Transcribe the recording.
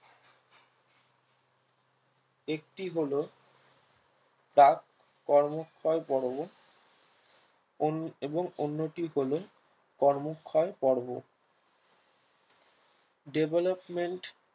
একটি হলো task ক্রমশই পর্ব এবং অন্যটি হলো কর্মক্ষই পর্ব development